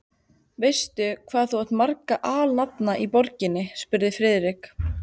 Veistu, hvað þú átt marga alnafna í borginni? spurði Friðrik.